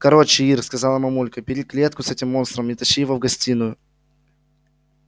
короче ир сказала мамулька бери клетку с этим монстром и тащи его в гостиную